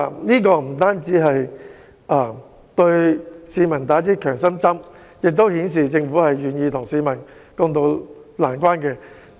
這不單會為市民打下強心針，亦顯示政府願意與市民共渡難關。